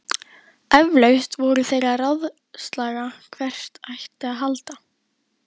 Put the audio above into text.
Eflaust voru þeir að ráðslaga hvert ætti að halda.